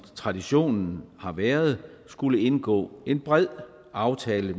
traditionen har været at skulle indgå en bred aftale